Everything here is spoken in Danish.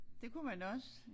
Det kunne man også